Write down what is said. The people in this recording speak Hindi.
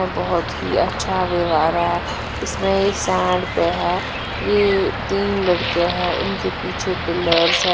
बहोत ही अच्छा व्यवहाँरा है इसमें ये सेंड पे है ये तीन लड़के है इसमें पिलर्स है।